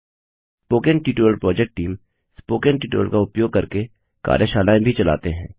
spoken tutorial project team spoken tutorial का उपयोग करके कार्यशालाएँ भी चलाते हैं